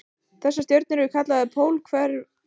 Þessar stjörnur eru kallaðar pólhverfar.